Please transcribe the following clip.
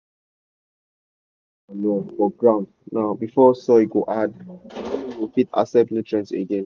famers suppose dey put animal manure for ground now before soil go hard wey no go fit accept nutrients again.